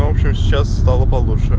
хорошо сейчас стало